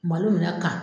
Malo minɛ ka